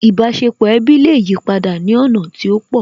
Ìbáṣepọ̀ ẹbí lè yipadà ní ọ̀nà tí ó pọ̀